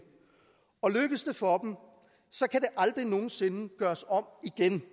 og lykkes det for dem så kan det aldrig nogen sinde gøres om igen